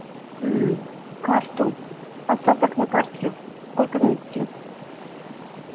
мм карту остаток на карте сколько внести